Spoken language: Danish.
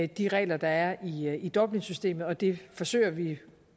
de regler der er i er i dublinsystemet og det forsøger vi